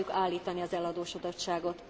Meg akarjuk állítani az eladósodottságot.